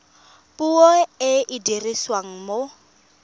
puo e e dirisiwang mo